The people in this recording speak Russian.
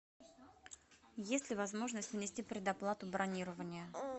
есть ли возможность внести предоплату бронирования